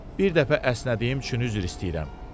bir dəfə əsnədiyim üçün üzr istəyirəm.